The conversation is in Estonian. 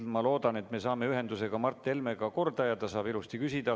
Ma loodan, et me saame ühenduse ka Mart Helmega korda ja ta saab ilusti küsida.